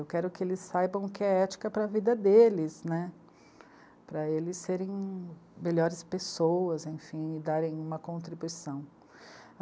Eu quero que eles saibam o que é ética para a vida deles, né, para eles serem melhores pessoas e darem uma contribuição.